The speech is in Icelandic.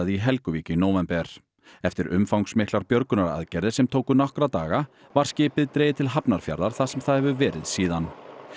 í Helguvík í nóvember eftir umfangsmiklar björgunaraðgerðir sem tóku nokkra daga var skipið dregið til Hafnarfjarðar þar sem það hefur verið síðan